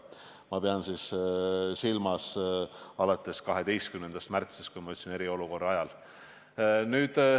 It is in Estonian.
Ma pean siin silmas olukorda alates 12. märtsist, nagu ma ütlesin, eriolukorda.